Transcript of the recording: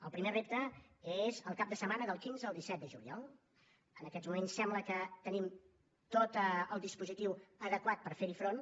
el primer repte és el cap de setmana del quinze al disset de juliol en aquests moments sembla que tenim tot el dispositiu adequat per fer hi front